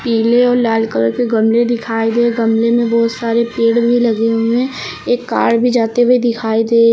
पीले और लाल कलर के गमले दिखाई दे गमले में बहुत सारे पेड़ भी लगे हुए एक कार भी जाते हुए दिखाई दे--